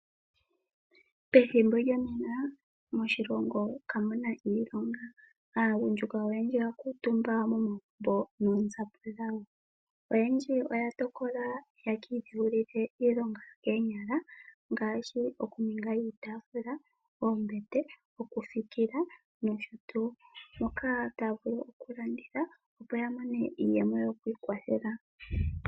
Momathimbo ngano aagundjuka oyedji kayena iilonga nonando yena oonzapo dho kiiputudhilo yopombanda. Oyendji oya tokola opo yaka dheulilwe iilonga yokoonyala ngaashi okuninga iipundi okuza miipilangi. Ohashi eta po iiyemo ngele yalanditha iihongomwa mbika.